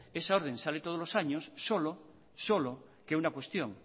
esa orden sale todos los años solo solo que una cuestión